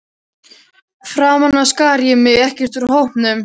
Framan af skar ég mig ekkert úr hópnum.